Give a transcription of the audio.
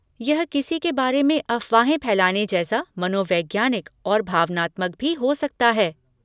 यह किसी के बारे में अफवाहें फैलाने जैसा मनोवैज्ञानिक और भावनात्मक भी हो सकता है।